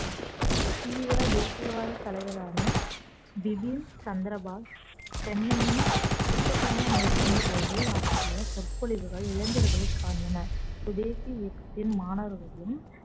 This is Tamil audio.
தீவிர தேசியவாத தலைவரான பிபின் சந்திரபாஸ் சென்னையின் சுற்றுப்பயணம் மேற்கொண்டபோது ஆற்றிய சொற்பொழிவுகள் இளைஞர்களை கவர்ந்தன சுதேசி இயக்கத்தின் மாணவர்களும்